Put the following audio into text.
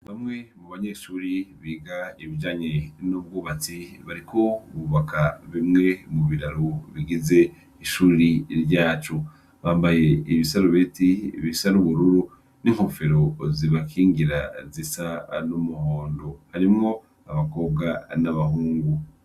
Bamwe mu banyeshure biga ibijanye n'ubwubatsi bariko bubaka bimwe mu biraro bigize ishuri ryacu. Bambaye ibisarubeti bisa n'ubururu, n'inkofero zibakingira zisa n'umuhondo. Harimwo abakobwa n'abahungu.